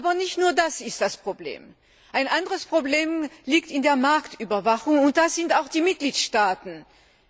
Aber nicht nur das ist ein Problem. Ein anderes Problem liegt in der Marktüberwachung, und da sind auch die Mitgliedstaaten gefordert.